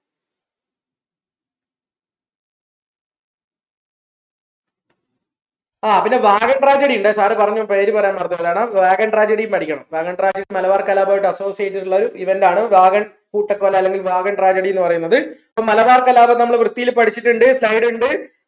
ആഹ് പിന്നെ tragedy ഇണ്ടെ sir പറഞ്ഞു പേര് പറയാൻ മറന്നു പോയതാണ് tragedy യും പഠിക്കണം tragedy മലബാർ കലാപവുമായി associate ട്ടുള്ള ഒരു event ആണ് കൂട്ടക്കൊല അല്ലെങ്കിൽ tragedy ന്ന് പറയുന്നത് അപ്പോ മലബാർ കലാപം നമ്മൾ വൃത്തിൽ പഠിച്ചിട്ടുണ്ട്